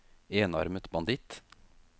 enarmet banditt